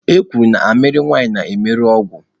E kwuru na amịrị nwanyị na-emerụ ọgwụ.